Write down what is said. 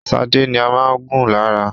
Shade ní má gún lára.